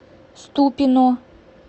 ступино